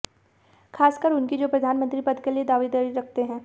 खासकर उनकी जो प्रधानमंत्री पद के लिए दावेदारी रखते हैं